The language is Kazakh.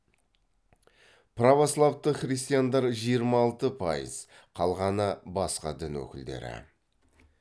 православты христиандар жиырма алты пайыз қалғаны басқа дін өкілдері